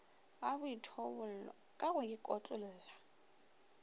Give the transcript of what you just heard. ga boithobollo ka go ikotlolla